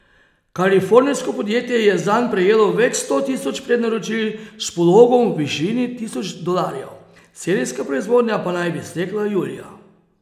Kalifornijsko podjetje je zanj prejelo več sto tisoč prednaročil s pologom v višini tisoč dolarjev, serijska proizvodnja pa naj bi stekla julija.